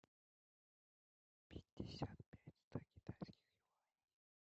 пятьдесят пять сто китайских юаней